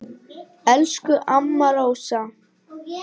Elsku amma Rósa.